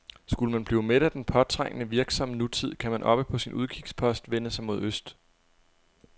Skulle man blive mæt af den påtrængende, virksomme nutid, kan man oppe på sin udkigspost vende sig mod øst.